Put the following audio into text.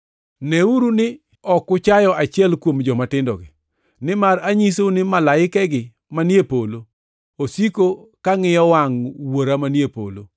“Neuru ni ok uchayo achiel kuom jomatindogi. Nimar anyisou ni malaikegi manie polo osiko ka ngʼiyo wangʼ Wuora manie polo. [